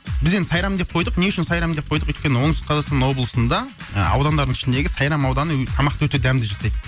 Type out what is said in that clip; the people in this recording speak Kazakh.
біз енді сайрам деп қойдық не үшін сайрам деп қойдық өйткені оңтүстік қазақстан облысында ыыы аудандардың ішіндегі сайрам ауданы тамақты өте дәмді жасайды